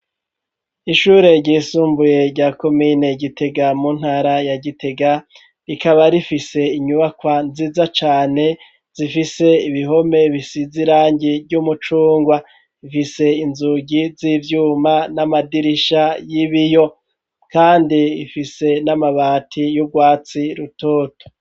Ishure ryisumbuye rya komine Gitega mu ntara ya Gitega, rikaba rifise inyubakwa nziza cane, zifise ibihome bisiz'irangi ry'umucungwa, ifise inzugi z'ivyuma n'amadirisha y'ibiyo, kandi ifise n'amabati y'ubwatsi rutoto.